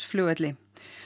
flugvelli